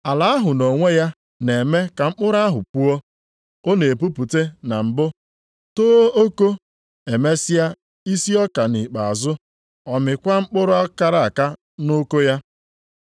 Ala ahụ nʼonwe ya na-eme ka mkpụrụ ahụ puo. Ọ na-epupụte na mbụ, too oko, emesịa isi ọka, nʼikpeazụ ọ mịkwara mkpụrụ kara aka nʼoko ya.